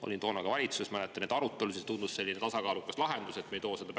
Ma olin toona ka valitsuses, mäletan neid arutelusid, tundus selline tasakaalukas lahendus, et me ei too seda